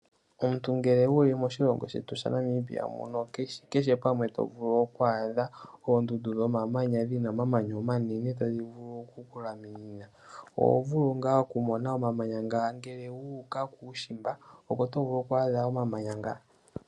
Omuntu ngele wuli moshilongo shetu shaNamibia muno kehe pamwe to vulu oku adha oondundu dhomamanya dhina omamanya omanene tadhi vulu oku kulaminina. Oho vulu ngaa oku mona omamanya ngano ngele wu uka kuushimba opo to vulu oku adha omamanya nga.